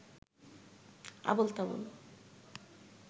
Abol Tabol